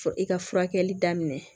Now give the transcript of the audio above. Fɔ i ka furakɛli daminɛ